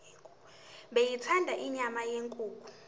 beyithanda inyama yenkukhu